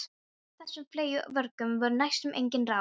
Gegn þessum fleygu vörgum voru næstum engin ráð.